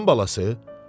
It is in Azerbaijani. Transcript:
Sıçan balası?